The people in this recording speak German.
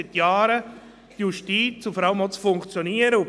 Es wurde ein paarmal von Vertrauen versus Misstrauen gesprochen.